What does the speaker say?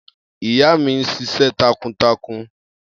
Iya mi n ṣiṣẹ takuntakun.